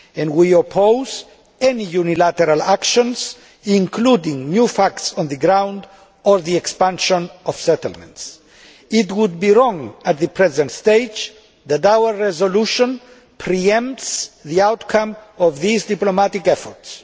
we oppose any unilateral actions including new facts on the ground or the expansion of settlements. It would be wrong at the present stage for our resolution to pre empt the outcome of these diplomatic efforts.